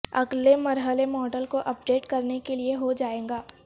اگلے مرحلے ماڈل کو اپ ڈیٹ کرنے کے لئے ہو جائے گا